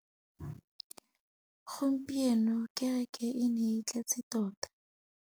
Gompieno kêrêkê e ne e tletse tota.